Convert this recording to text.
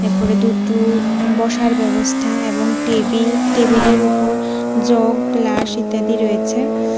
উপরে দুটো বসার ব্যবস্থা এবং টেবিল টেবিলের উপর জগ গ্লাস ইত্যাদি রয়েছে।